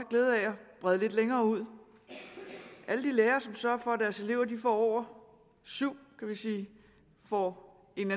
brede lidt længere ud alle de lærere som sørger for at deres elever får over syv får en